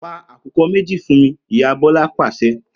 Pa àkùkọ méjì fún mi!', ìyá Bọlá pàṣẹ